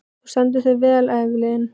Þú stendur þig vel, Evelyn!